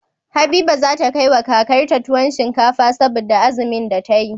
Habiba zata kai wa kakar ta tuwon shinkafa saboda azumin da tayi